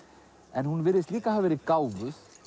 en hún virðist líka hafa verið gáfuð